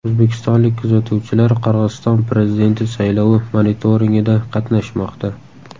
O‘zbekistonlik kuzatuvchilar Qirg‘iziston prezidenti saylovi monitoringida qatnashmoqda.